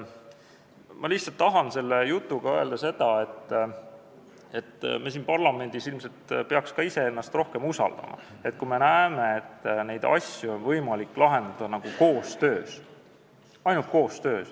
Ma tahan selle jutuga öelda lihtsalt seda, et meie siin parlamendis ilmselt peaksime ka iseennast rohkem usaldama, kui me näeme, et asju on võimalik lahendada koostöös.